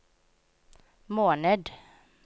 måned